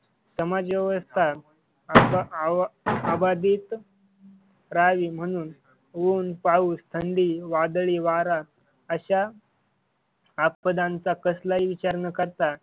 समाजव्यवस्था अबादित राहावी म्हणून ऊन, पाऊस, थंडी, वादळी वारा आशा आपदांचा कसलाही विचार न करता,